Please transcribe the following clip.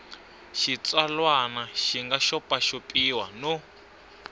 xitsalwana xi nga xopaxopiwa no